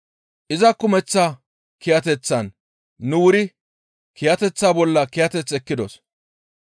Iza kumeththa kiyateththan nu wuri kiyateththa bolla kiyateth ekkidos.